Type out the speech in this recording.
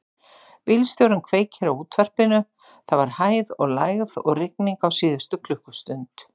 Bílstjórinn kveikti á útvarpinu: það var hæð og lægð og rigning á síðustu klukkustund.